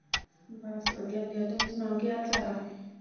ਬਸ ਵਧੀਆ ਵਧੀਆ ਤੁਸੀਂ ਸੁਣਾਓ ਕੀ ਹਾਲ ਚਾਲ ਹੈ।